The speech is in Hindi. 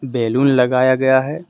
बैलून लगाया गया है।